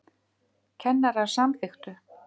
Kennarar samþykktu